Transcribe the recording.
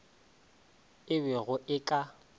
e be go e ka